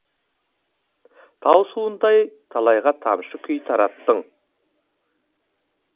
тау суындай талайға тамаша күй тараттың